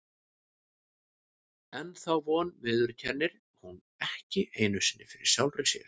En þá von viðurkennir hún ekki einu sinni fyrir sjálfri sér.